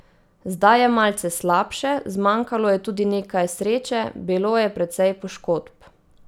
Zdaj je malce slabše, zmanjkalo je tudi nekaj sreče, bilo je precej poškodb.